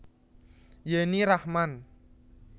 Yenny Rachman